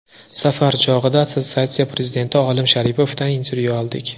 Safar chog‘ida assotsiatsiya prezidenti Olim Sharipovdan intervyu oldik.